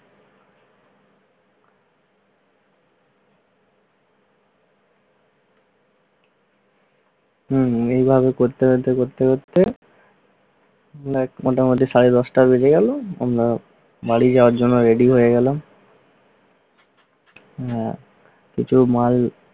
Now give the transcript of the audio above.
মোটামুটি সাড়ে দশটা বাজে আমরা বাইরে যাওয়ার জন্য ready হয়ে গেলাম। কিছু মাল